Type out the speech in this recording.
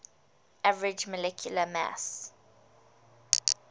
average molecular mass